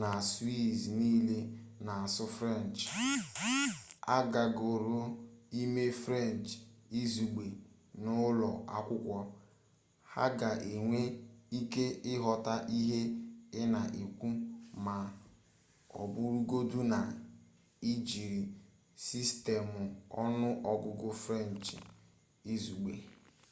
na swiiz niile na-asụ frenchị agagọrọ ịmụ frenchị izugbe n'ụlọ akwụkwọ ha ga-enwe ike ịghọta ihe ị na-ekwu ma ọ bụrụgodu na ị jiri sistemụ ọnụọgụgụ frenchị izugbe